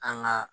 An ga